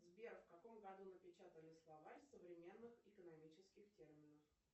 сбер в каком году напечатали словарь современных экономических терминов